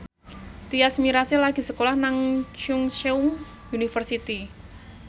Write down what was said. Tyas Mirasih lagi sekolah nang Chungceong University